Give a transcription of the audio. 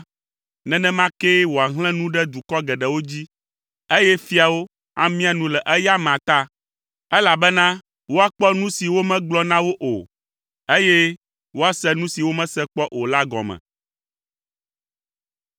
nenema kee wòahlẽ nu ɖe dukɔ geɖewo dzi, eye fiawo amia nu le eya amea ta, elabena woakpɔ nu si womegblɔ na wo o, eye woase nu si womese kpɔ o la gɔme.